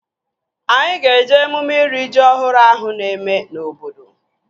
Anyị ga-eje emume iri ji ọhụrụ ahụ na-eme na obodo